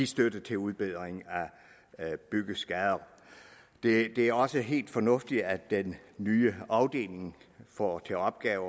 støtte til udbedring af byggeskader det det er også helt fornuftigt at den nye afdeling får til opgave